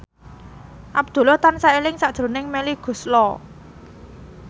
Abdullah tansah eling sakjroning Melly Goeslaw